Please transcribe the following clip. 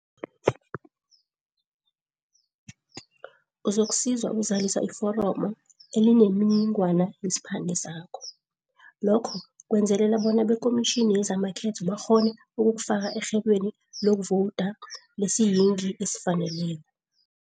Uzokusizwa ukuzalisa iforomo elinemininingwana yesiphande sakho. Lokho kwenzelela bona bekhomitjhini yezamakhetho bakghone ukukufaka erhelweni lokuvowuda lesiyingi esifaneleko.